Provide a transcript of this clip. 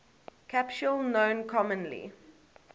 capsule known commonly